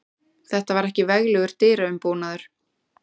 Þetta var ekki veglegur dyraumbúnaður.